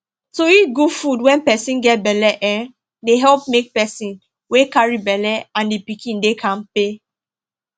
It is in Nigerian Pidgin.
to eat good food when person get belle um dey help make person wey carry belle and the pikin dey kampe